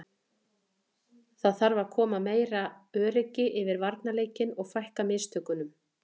Það þarf að koma meira öryggi yfir varnarleikinn og fækka mistökunum.